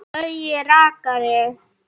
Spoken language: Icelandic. Gaui rakari.